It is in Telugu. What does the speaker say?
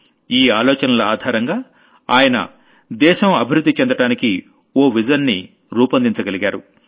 ఈ ఆలోచనల ఆధారంగా ఆయన దేశం అభివృద్ధి చెందడానికి ఓ విజన్ ని రూపొందించగలిగారు